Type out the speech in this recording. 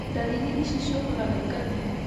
Ndariri ici ciũkaga na ikathiĩ.